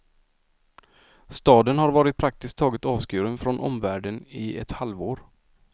Staden har varit praktiskt taget avskuren från omvärlden i ett halvår.